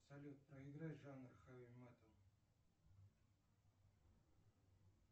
салют проиграй жанр хэви метал